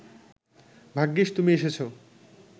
ভাগ্যিস তুমি এসেছো